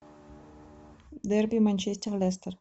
дерби манчестер лестер